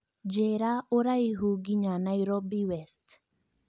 njĩira ũraihu ngĩnya Nairobi West